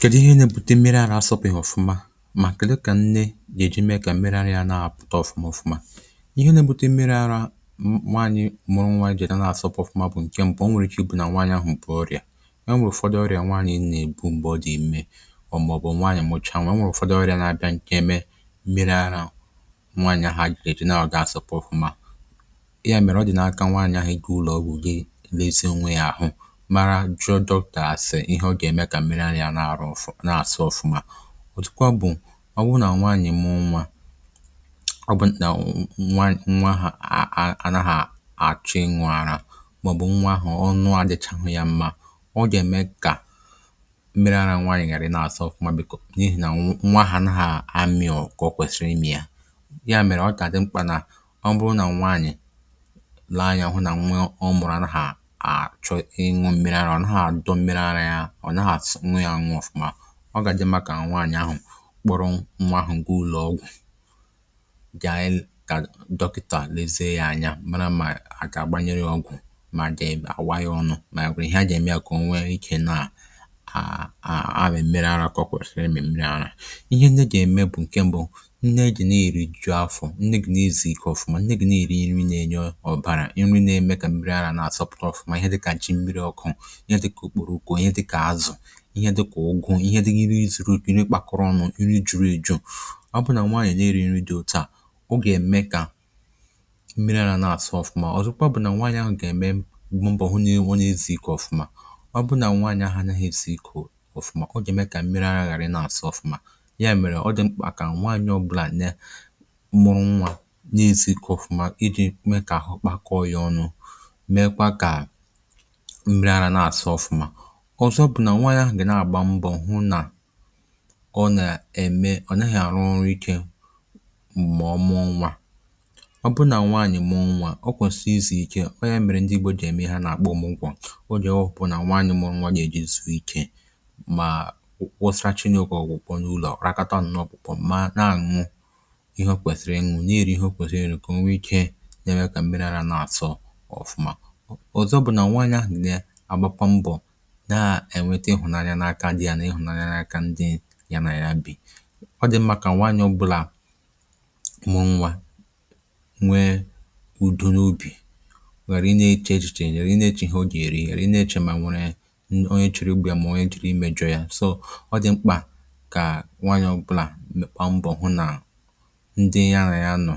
Kèdụ ihe nà-ebute mmiri àrạ̀ asọpụ̀ ya ọfụma, mà kèdụ kà nne gà-èji mee kà mmiri àrạ̀ na-àpụ̀ta ọfụma ọfụma?, Ihe nà-ebute mmiri àrạ̀ nwaànyị̀ mụrụ, nwaànyị̀ jèdo na-asọpụ̀ ọfụma, bụ̀ nke mbụ. O nwèrè ike ibu nà nwaànyị̀ ahụ̀ m̀pụ̀ ọrịa; o nwèrè ụ̀fọ̀dị̀ ọrịa nwaànyị̀ nà-èbu m̀gbè ọ dị ime ọ̀ màọ̀bụ̀ nwaànyị̀ àmọcha. um Nwaànyị̀ nwèrè ụ̀fọ̀dị̀ ọrịa na-abịa, nke mèrè àrạ̀ nwaànyị̀ ahụ̀ ejì na-àgà asọpụ̀ ọfụma. Ya mèrè, ọ dị n’aka nwaànyị̀ ahụ̀, ego, ụlọ̀ọgwụ̀, um gị lezie ònwe ya àhụ̄. Ihe ọ gà-ème kà mmiri àrạ̀ na-àrụ ọfụma, nà-asọ ọfụma. Ọ̀tùkwa bụ̀ ọ wụ̀ nà nwaànyị̀ mụrụ nwa, ọ bụ̀ nà nkà nwa, nwa ahà àrà, hà àchụ nwa àrạ̀, màọ̀bụ̀ nwa ahụ̀ ọ nùádị̀chà ya mma, ọ gà-ème kà mmiri àrạ̀ nwaànyị̀ ghàrị̀ nà-àsọ ọfụma. Bìkò, n’ihì nà nwa ahà nà ha amịọ̀, kà ọ kwèsìrì imì ya. Ya mèrè, ọ dị mkpà nà ọ bụrụ nà nwaànyị̀ làànyì̄, ọ wụ̀ nà nwa ọ mụ̀rụ̀ anà hà àchọ ịnwụ̀ mmiri àrạ̀, ọ nà-àtụ̀ nwe ya nwọ̇fụ̀ma. Ọ gà-àdị mma kà nwaànyị̀ ahụ̀ kpọrọ nwa ahụ̀ n’ụlọ̀ọgwụ̀, kà dọkịtà lèzie ya anya, mara ma à gà-agbanyèrọ ọgwụ̀, ma dị àwa ya ọnụ̇, mà àgwà ihe a gà-ème ya. Kà o nwèrè ike nà-àmị mèrè àrạ̀ kọkwèsìrì. Emè mmiri àrạ̀, ihe nà-ème bụ̀ nke mbụ̇: nneè dị na-èri ju afọ̀, nneè gù n’ezi ike ọfụma um Nneè gù nà-èri nri, nà-ènye ọ̀bàrà inri, na-ème kà mmiri àrạ̀ nà-asọpụ̀ta ọfụma. Ihe dị kà ji mmiri ọkụ̇, ihe dị kà ògùọ, ihe dị gị nri zuru, nri kpàkuru ọnụ, nri juru èju. Ọ bụ nà nwaànyị̀, nri diri ìdi, ọ̀ tòó à, ọ gà-ème kà mmiri àlà nà-àsụ ọfụma. Ọ̀zọkwa bụ̀ nà nwaànyị̀ ahụ̀ gà-ème mbọ̀ hụ n’ịnwụ̇ n’izì ike ọfụma. Ọ bụ nà nwaànyị̀ ahụ̀ a naghị esì ikù ọfụma, ọ gà-ème kà mmiri ahụ̀rụ̀ na-àsụ ọfụma. Ya mèrè, ọ dị mkpà kà nwaànyị̀ um ọ̀gụ̀là nà mụrụ nwa n’ìzì ike ọfụma, ịdị̇ mee kà àhụ̄ kpakọ, ọrịa ọnụ̇, mekwa kà mmiri àrạ̀ na-àsụ ọfụma. Nke à bụ̀ nà nwaànyị̀ à gà-àgba mbọ̀ hụ nà ọ nà-ème ọ̀ nà-àrụ nri ike, um mà ọ mụ́ ọnwa. Ọ bụ nà nwaànyị̀ mụ́ ọnwa, ọ kwèsìrìsì ike, ọ nà-èmèrè ndị ìgbò dị ème hȧ n’àkpọ “mụ́ nkwọ̇”. Ọ dị ọfụ̀pụ̀ nà nwaànyị̀ mụ́ ọnwa à nà-èjizù bụ̀ ike, mà wụsàrị Chineke,. kà ọ gwòkwò n’ụlọ̀, rákọta nnọọ, bụ̀ mana à nwa, ihe o kwèsìrì ịnwụ̇, nà eri ihe o kwèsìrì ike, nwee ike na-ẹ̀rẹ àrạ̀, nà-àtọ ọfụma. Ọ̀zọkwa bụ̀ nà nwaànyị̀ à gbàkwà mbọ̀ hụ̀nanya n’aka di ya, nà ịhụ̀nanya n’aka ndị ya nà ya bi. um Ọ dị mȧkà nwayọ̀ ọbụla mụrụ nwa, nwee ụ̀dị̀ n’ubì, nwèrè inè eche echiche, yèrè inè eche ihe ọ gà-èri, inè eche, mà nwèrè onye chìrì ugbò ya, mà onye jìrì i mejụ̇ ya um Ọ dị mkpà kà nwayọ̀ ọbụla, mụ̀o, m̀kpọ̀ mbọ̀ hụ nà ndị ya nà ya nọ,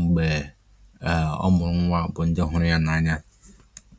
m̀gbè ọ mụ̀rụ̀ nwa, bụ̀ ndị ọ̀hụrụ̀ ya nà anya.